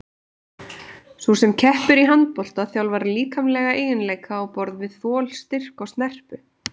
Sú sem keppir í handbolta þjálfar líkamlega eiginleika á borð við þol, styrk og snerpu.